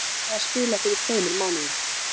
Ég byrjaði að spila fyrir tveimur mánuðum.